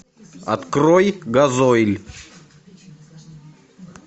открой газойль